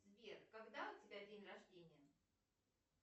сбер когда у тебя день рождения